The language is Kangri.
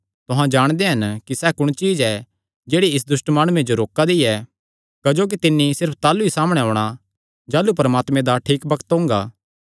तुहां जाणदे हन कि सैह़ कुण चीज्ज ऐ जेह्ड़ी इस दुष्ट माणुये जो रोका दी ऐ क्जोकि तिन्नी सिर्फ ताह़लू ई सामणै औणां जाह़लू परमात्मे दा ठीक बग्त ओंगा